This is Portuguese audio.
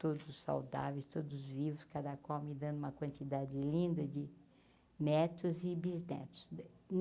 Todos saudáveis, todos vivos, cada qual me dando uma quantidade linda de netos e bisnetos.